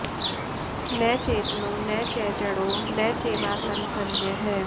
न चेतनो न च जडो न चैवासन्न सन्मयः